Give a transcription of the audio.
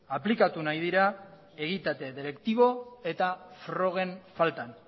aplikatu nahi dira egitate deliktibo eta frogen faltan